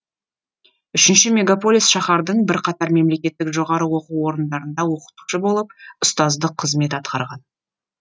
үшінші мегаполис шаһардың бірқатар мемлекеттік жоғары оқу орындарында оқытушы болып ұстаздық қызмет атқарған